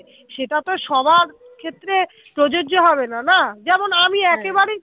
সেটা তো সবার ক্ষেত্রে প্রযোজ্য হবে না না যেমন হা আমি একেবারেই